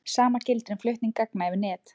Sama gildir um flutning gagna yfir net.